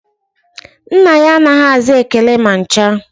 Nna ya anaghị aza ekele ma ncha